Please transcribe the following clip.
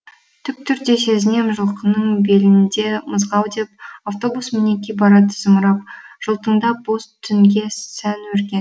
тік түрде сезінем жылқының белінде мызғау деп автобус мінеки барады зымырап жылтыңдап боз түнге сән өрген